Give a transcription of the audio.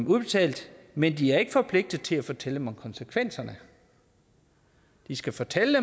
udbetalt men de er ikke forpligtet til at fortælle dem om konsekvenserne de skal fortælle